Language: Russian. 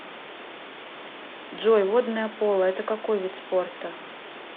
джой водное поло это какой вид спорта